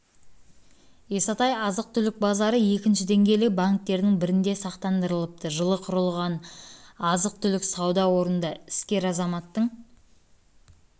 исатай азық-түлік базары екінші деңгейлі банктердің бірінде сақтандырылыпты жылы құрылған азық-түлік сауда орнында іскер азаматтың